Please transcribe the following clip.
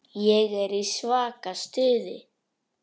Ég er í svaka stuði.